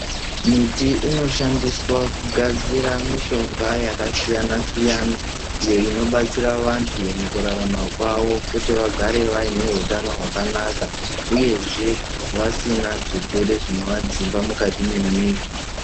Miti inoshandiswa kugadzira mishonga yakasiyana-siyana, iyo inobatsira vantu mukurarama kwavo kuti vagare vaine hutano hwakanaka, uyezve vasina zvirwere zvinovadzimba mukati memwiri.